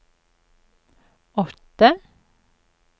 åtte